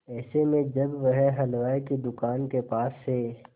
ऐसे में जब वह हलवाई की दुकान के पास से